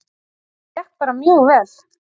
Þetta gekk bara mjög vel